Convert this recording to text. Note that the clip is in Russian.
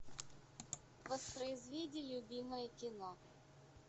воспроизведи любимое кино